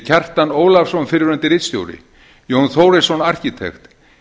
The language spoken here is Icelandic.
kjartan ólafsson fyrrverandi ritstjóri jón þórisson arkitekt